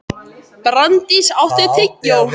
Branddís, áttu tyggjó?